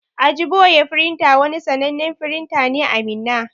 Ajiboye printer wani sannanen firinta ne a Minna.